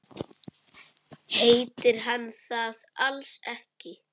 Heitir hann það alls ekki?